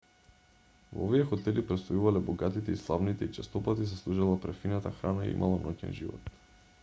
во овие хотели престојувале богатите и славните и честопати се служела префинета храна и имало ноќен живот